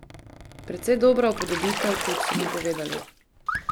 Precej dobra upodobitev, kot so mi povedali.